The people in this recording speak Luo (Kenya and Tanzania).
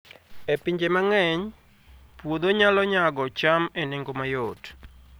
E pinje mang'eny, puodho nyalo nyago cham e nengo mayot